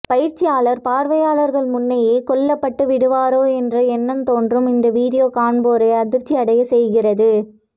பயிற்சியாளர் பார்வையாளர்கள் முன்னேயே கொல்லப்பட்டு விடுவாரோ என்று எண்ணத்தோன்றும் இந்த வீடியோ காண்போரை அதிர்ச்சியடையச் செய்கிறது